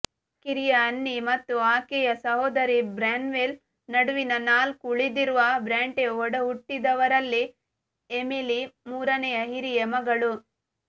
ಕಿರಿಯ ಅನ್ನಿ ಮತ್ತು ಆಕೆಯ ಸಹೋದರಿ ಬ್ರ್ಯಾನ್ವೆಲ್ ನಡುವಿನ ನಾಲ್ಕು ಉಳಿದಿರುವ ಬ್ರಾಂಟೆ ಒಡಹುಟ್ಟಿದವರಲ್ಲಿ ಎಮಿಲಿ ಮೂರನೆಯ ಹಿರಿಯ ಮಗಳು